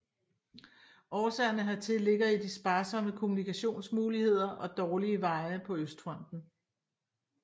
Årsagerne hertil ligger i de sparsomme kommunikationsmuligheder og dårlige veje på Østfronten